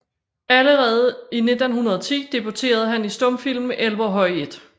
Allerede i 1910 debuterede han i stumfilmen Elverhøj I